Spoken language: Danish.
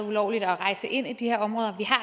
ulovligt at rejse ind i de her områder